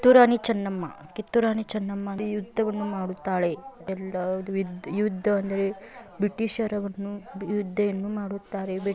ಕಿತ್ತೂರ್ ರಾಣಿ ಚೆನ್ನಮ್ಮ ಕಿತ್ತೂರ್ ರಾಣಿ ಚೆನ್ನಮ್ಮ ಅಂದೆರೇ ಒಂದು ಯುಧ್ದವನ್ನು ಮಾಡುತ್ತಾಳೆ ಯಾಕಂದರೆ ಎಲ್ಲಾ ವಿದ್ ಯುದ್ಧಅಂದರೆ ಬ್ರಿಟಿಷರವನ್ನು ಯುದ್ಧಯನ್ನು ಮಾಡುತ್ತಾರೇ.